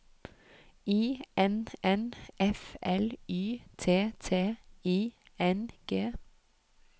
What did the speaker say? I N N F L Y T T I N G